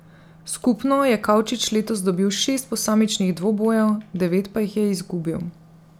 Skupno je Kavčič letos dobil šest posamičnih dvobojev, devet pa jih je izgubil.